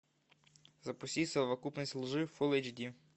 запусти совокупность лжи фулл эйч ди